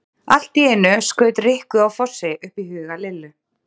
Allt í einu skaut Rikku á Fossi upp í huga Lillu.